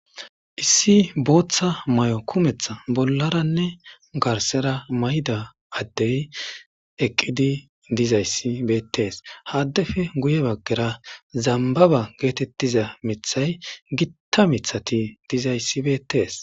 issi booththa may'o kumeeththa bollaranne garsera mayda addey eqqidi dizayssi bettees ha addefe guye baggera zambaba getettiiza miiththay gitta miththati dizayssi betees